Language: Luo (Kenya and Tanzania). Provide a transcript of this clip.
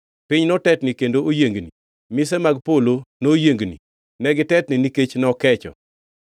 Piny notetni kendo oyiengni, mise mag polo noyiengni; negitetni nikech nokecho.